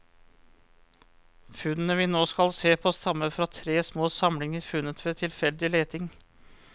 Funnene vi nå skal se på stammer fra tre små samlinger funnet ved tilfeldig leting.